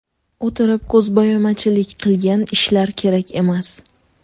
O‘tirib, ko‘zbo‘yamachilik qilgan ishlar kerak emas.